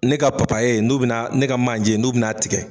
Ne ka papaye n'u bɛna, ne ka manjɛ n'u bɛna tigɛ.